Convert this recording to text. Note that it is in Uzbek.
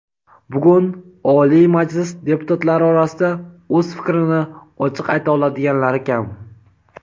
Bugun Oliy Majlis deputatlari orasida o‘z fikrini ochiq ayta oladiganlari kam.